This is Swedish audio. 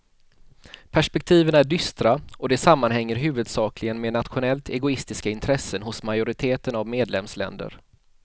Perspektiven är dystra och det sammanhänger huvudsakligen med nationellt egoistiska intressen hos majoriteten av medlemsländer.